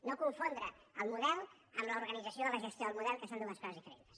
no confondre el model amb l’organització de la gestió del model que són dues coses diferents